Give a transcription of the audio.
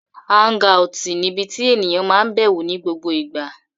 Áúngaùtì níbi tí ènìyàn máa n bẹ̀wò ní gbogbo ìgbà